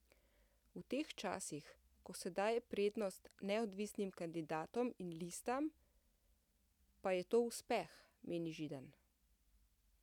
V teh časih, ko se daje prednost neodvisnim kandidatom in listam, pa je to uspeh, meni Židan.